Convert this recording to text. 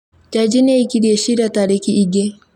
Jaji nĩ aikirie ciira tarikii ingĩ